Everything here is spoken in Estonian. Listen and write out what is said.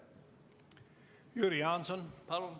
Jüri Jaanson, palun!